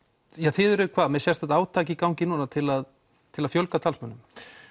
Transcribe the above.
þið eruð með sérstakt átak í gangi núna til að til að fjölga talsmönnum